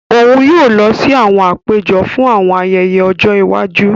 Òun yóò lọ si àwọn àpéjọ fún àwọn ayẹyẹ ojó iwájú.